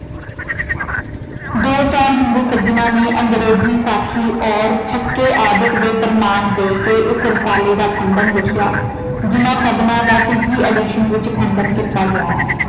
ਦੋ ਚਾਰ ਹਿੰਦੂ ਸੱਜਣਾ ਨੇ ਅੰਗਰੇਜ਼ੀ ਸਾਖੀ ਔਰ ਆਦਿਕ ਦੇ ਪ੍ਰਮਾਣ ਦੇ ਕੇ ਇਸ ਰਸਾਲੇ ਦਾ ਖੰਡਨ ਲਿਖਿਆ। ਜਿਨ੍ਹਾਂ ਸੱਜਣਾ ਦਾ ਤੀਜੀ edition ਵਿੱਚ ਖੰਡਨ ਕੀਤਾ ਗਿਆ ਹੈ।